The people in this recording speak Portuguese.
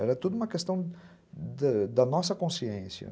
Era tudo uma questão da nossa consciência.